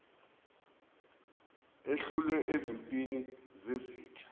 ehlulwe ezimpini zezitha